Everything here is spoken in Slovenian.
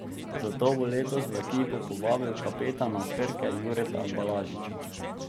Zato bo letos v ekipo povabil kapetana Krke Jureta Balažiča.